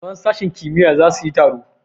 Malaman sashen kimiyya za su yi taro.